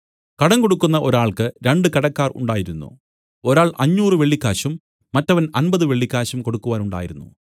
കടം കൊടുക്കുന്ന ഒരാൾക്ക് രണ്ടു കടക്കാർ ഉണ്ടായിരുന്നു ഒരാൾ അഞ്ഞൂറ് വെള്ളിക്കാശും മറ്റവൻ അമ്പത് വെള്ളിക്കാശും കൊടുക്കുവാനുണ്ടായിരുന്നു